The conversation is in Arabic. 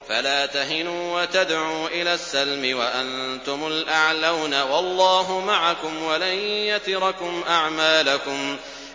فَلَا تَهِنُوا وَتَدْعُوا إِلَى السَّلْمِ وَأَنتُمُ الْأَعْلَوْنَ وَاللَّهُ مَعَكُمْ وَلَن يَتِرَكُمْ أَعْمَالَكُمْ